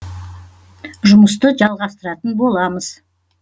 жұмысты жалғастыратын боламыз